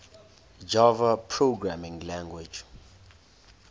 java programming language